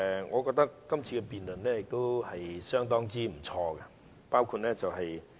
我覺得這次辯論相當不錯。